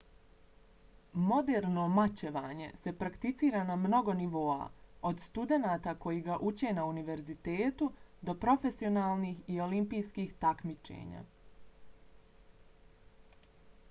moderno mačevanje se prakticira na mnogo nivoa od studenata koji ga uče na univerzitetu do profesionalnih i olimpijskih takmičenja